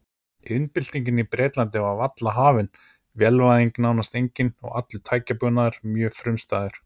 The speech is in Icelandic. Iðnbyltingin í Bretlandi var varla hafin, vélvæðing nánast engin og allur tækjabúnaður mjög frumstæður.